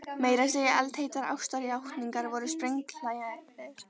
Meira að segja eldheitar ástarjátningar voru sprenghlægilegar.